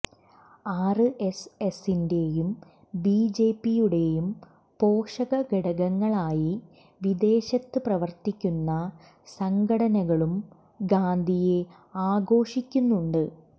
ആര് എസ് എസിന്റെയും B J പിയുടെയും പോഷക ഘടകങ്ങളായി വിദേശത്ത് പ്രവര്ത്തിക്കുന്ന സംഘടനകളും ഗാന്ധിയെ ആഘോഷിക്കുന്നുണ്ട്